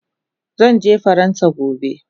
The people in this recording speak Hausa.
Zanje faransa gobe